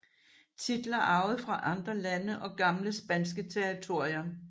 Titler arvet fra andre lande og gamle spanske territorier